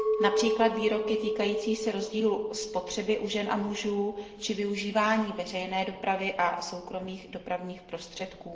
Například výroky týkající se rozdílu spotřeby u žen a mužů či využívání veřejné dopravy a soukromých dopravních prostředků.